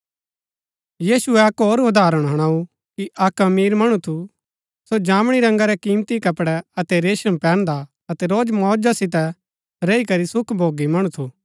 यीशुऐ अक्क होर उदाहरण हुणाऊ कि अक्क अमीर मणु थू सो जामणी रंगा रै कीमती कपडै अतै रेशम पैहन्दा अतै रोज मौज सितै रैई करी सुख भोगी मणु थू